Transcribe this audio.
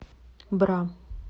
бра